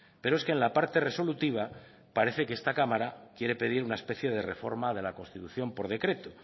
pero es que en la parte resolutiva parece que esta cámara quiere pedir una especie de reforma de la constitución por decreto